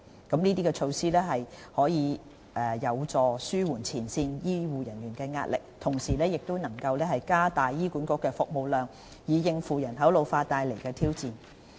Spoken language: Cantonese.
這些措施有助紓緩前線醫護人員的壓力，同時加大醫管局的服務量，以應付人口老化所帶來的挑戰。